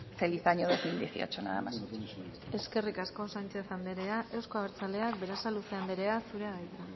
feliz año dos mil dieciocho nada más y muchas gracias eskerrik asko sánchez andrea euzko abertzaleak berasaluze andrea zurea da hitza